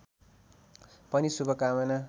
पनि शुभकामना